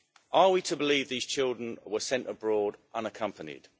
Are we to believe these children were sent abroad unaccompanied?